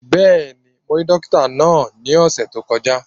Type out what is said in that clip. Bẹ́ẹ̀ni, mo rí dókítà náà ní ọ̀sẹ̀ tó kọjá